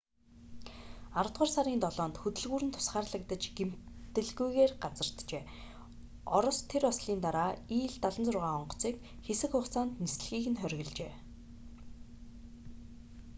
аравдугаар сарын 7-нд хөдөлгүүр нь тусгаарлагдаж гэмтэлгүйгээр газарджээ орос тэр ослын дараа ил-76 онгоцыг хэсэг хугацаанд нислэгийг нь хоригложээ